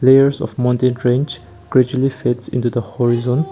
layers of mountain range gradually fades into the horizon.